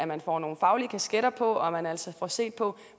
man får nogle faglige kasketter på og man altså får set på